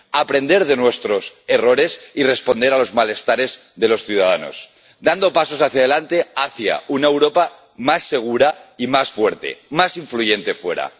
aprender de nuestros errores y responder a los malestares de los ciudadanos, dando pasos hacia delante, hacia una Europa más segura y más fuerte, más influyente fuera